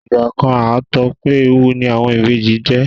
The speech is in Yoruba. igba kan a t'ọpẹ ẹwù ni àwọn Ìbejì je